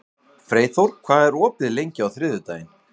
Freyþór, hvað er opið lengi á þriðjudaginn?